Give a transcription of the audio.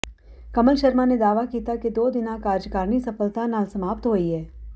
ਕਮਲ ਸ਼ਰਮਾ ਨੇ ਦਾਅਵਾ ਕੀਤਾ ਕਿ ਦੋ ਦਿਨਾਂ ਕਾਰਜਕਾਰਨੀ ਸਫਲਤਾ ਨਾਲ ਸਮਾਪਤ ਹੋਈ ਹੈ